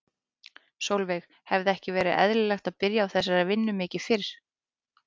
Sólveig: Hefði ekki verið eðlilegt að byrja á þessari vinnu mikið mikið fyrr?